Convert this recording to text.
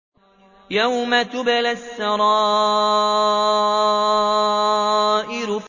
يَوْمَ تُبْلَى السَّرَائِرُ